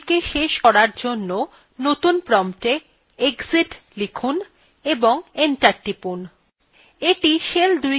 shell ২কে শেষ করার জন্য নতুন promptএ exit লিখুন এবং enter টিপুন